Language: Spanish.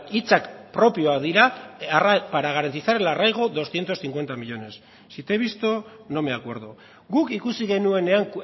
hitzak propioak dira para garantizar el arraigo doscientos cincuenta millónes si te he visto no me acuerdo guk ikusi genuenean